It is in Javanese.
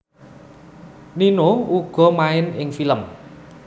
Nino uga main ing film